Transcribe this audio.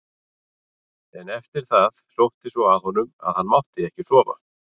En eftir það sótti svo að honum að hann mátti ekki sofa.